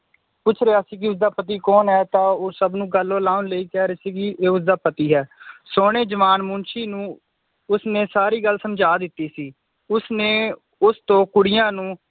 ਪੁੱਛ ਰਿਆ ਸੀ ਕਿ ਇਸਦਾ ਪਤੀ ਕੌਣ ਹੈ ਤਾਂ ਉਹ ਸਬਣੂ ਗਲੋਂ ਲਾਉਣ ਲਈ ਕਹਿ ਰਹੀ ਸੀ ਕਿ ਇਹ ਉਸਦਾ ਪਤੀ ਹੈ ਸੋਹਣੇ ਜਵਾਨ ਮੁਨਸ਼ੀ ਨੂੰ ਉਸਨੇ ਸਾਰੀ ਗੱਲ ਸਮਝਾ ਦਿਤੀ ਸੀ ਉਸਨੇ ਉਸਤੋਂ ਕੁੜੀਆਂ ਨੂੰ